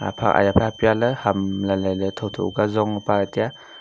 aya phai apialey ham lailailey thotho zonge palahe taiya.